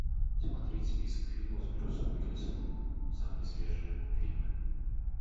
смотреть список фильмов с брюсом уиллисом самые свежие фильмы